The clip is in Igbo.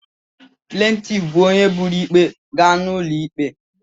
Plantif bụ onye buru ikpe gaa n'ụlọ ikpe.